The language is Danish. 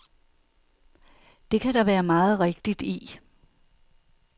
Det kan der være meget rigtigt i.